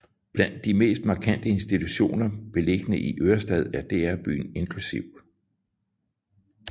Blandt de mest markante institutioner beliggende i Ørestad er DR Byen inkl